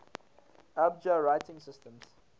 abjad writing systems